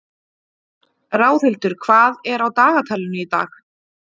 Ráðhildur, hvað er á dagatalinu í dag?